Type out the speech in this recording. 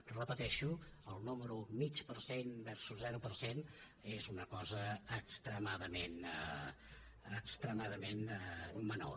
ho repeteixo el número mig per cent versus zero per cent és una cosa extremadament menor